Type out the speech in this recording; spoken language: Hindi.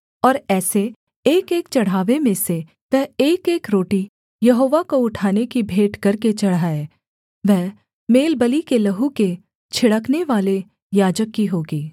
और ऐसे एकएक चढ़ावे में से वह एकएक रोटी यहोवा को उठाने की भेंट करके चढ़ाए वह मेलबलि के लहू के छिड़कनेवाले याजक की होगी